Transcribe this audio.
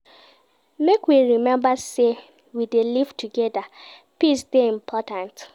Make we rememba sey we dey live togeda, peace dey important.